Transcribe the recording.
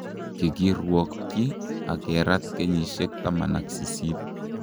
Kikirwokyi ak kerat kenyisiek 18.